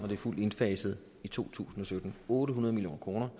det er fuldt indfaset i to tusind og sytten otte hundrede million kroner